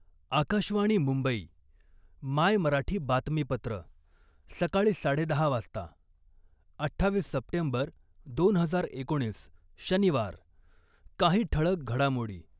आकाशवाणी मुंबई, मायमराठी बातमीपत्र, सकाळी साडेदहा वाजता, अठ्ठावीस सप्टेंबर दोन हजार एकोणीस, शनिवार, काही ठळक घडामोडी